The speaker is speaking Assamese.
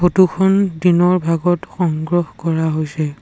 ফটো খন দিনৰ ভাগত সংগ্ৰহ কৰা হৈছে।